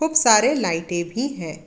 बहुत सारे लाइटे भी है।